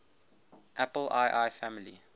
apple ii family